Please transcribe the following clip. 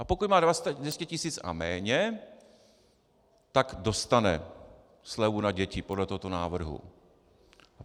A pokud má 200 tisíc a méně, tak dostane slevu na děti podle tohoto návrhu.